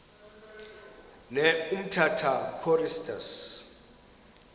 ne umtata choristers